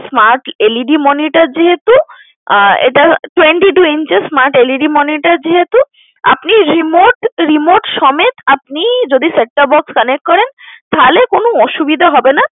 Smart LED monitor যেহেতু আহ এটা Twenty-two inches smart LED monitor যেহেতু আপনি remote remote সমেত আপনি যদি set-top box connect করেন তাহলে কোন অসুবিধা হবে না।